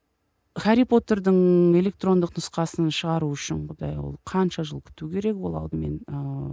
хәрри потердің электрондық нұсқасын шығару үшін құдай ау қанша жыл күту керек ол алдымен ыыы